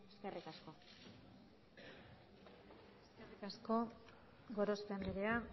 eskerrik asko eskerrik asko gorospe andrea